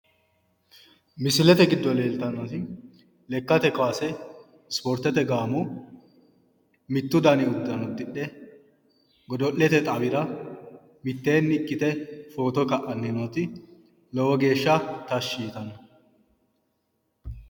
Misilete giddo leelitannoti lekkate kaase isipooritete gaamo mittu dani uddano uddidhe godo'lete xawira miteenni ikkite photo ka'anni nooti lowo geesha tashi yitanno